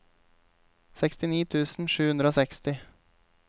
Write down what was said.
sekstini tusen sju hundre og seksti